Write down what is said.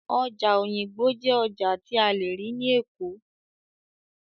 Ọjà Òyìngbò jẹ́ ọjà tí a lè rí ní Èkó